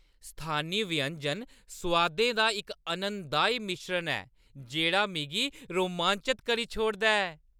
स्थानी व्यंजन सोआदें दा इक आनंददाई मिश्रण ऐ जेह्ड़ा मिगी रोमांचत करी छोड़दा ऐ।